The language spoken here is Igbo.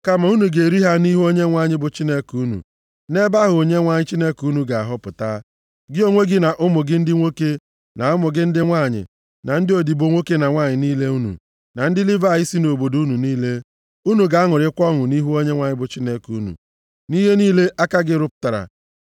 Kama unu ga-eri ha nʼihu Onyenwe anyị bụ Chineke unu, nʼebe ahụ Onyenwe anyị Chineke unu ga-ahọpụta, gị onwe gị, na ụmụ gị ndị nwoke na ụmụ gị ndị nwanyị, na ndị odibo nwoke na nwanyị niile unu, na ndị Livayị si nʼobodo unu niile, unu ga-aṅụrịkwa ọṅụ nʼihu Onyenwe anyị bụ Chineke unu, nʼihe niile aka gị rụpụtara.